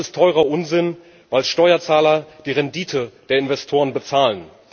Das ist teurer Unsinn, weil Steuerzahler die Rendite der Investoren bezahlen.